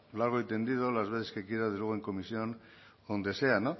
largo y tendido las veces que quiera luego en comisión o donde sea